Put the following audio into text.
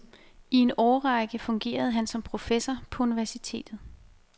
I en årrække fungerede han som professor på universitetet.